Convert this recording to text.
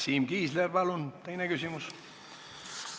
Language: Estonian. Siim Kiisler, palun teine küsimus!